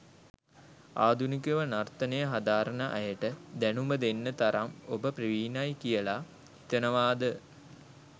ආධුනිකව නර්තනය හදාරන අයට දැනුම දෙන්න තරම් ඔබ ප්‍රවීණයි කියලා හිතනවාද?